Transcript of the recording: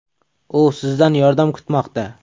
U sizdan yordam kutmoqda!.